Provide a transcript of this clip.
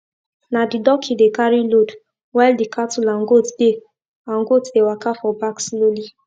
na the dockey dey carry load while the cattle and goat dey and goat dey waka for back slowly